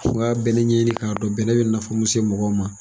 Fo n ga bɛnɛ ɲɛɲini k'a dɔn bɛnɛ bɛ nafa min lase mɔgɔ ma.